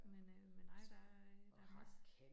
Men øh men nej der er øh der er masse